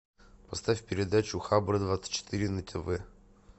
поставь передачу хабр двадцать четыре на тв